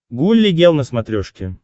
гулли гел на смотрешке